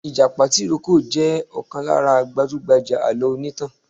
ìjàpá tìrókò jẹ̀ ọ̀kan lára gbajúgbajà alọ onítàn.